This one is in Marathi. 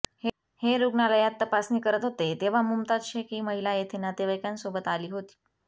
हे रुग्णालयात तपासणी करत होते तेव्हा मुमताज शेख ही महिला थेथे नातेवाईकांन सोबत आली होती